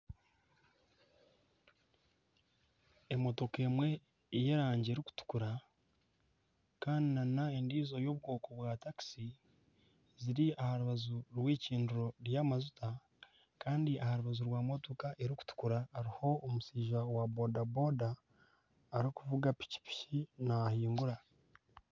Emotoka emwe y'erangi erikutukura kandi nana endiijo y'obukuubo bwatakisi eri aha rubaju rw'eicundiro ry'amajuta kandi aha rubaju rw'emotoka erikutukura hariho omushaija wa bodaboda arikuvuga pikipiki naahingura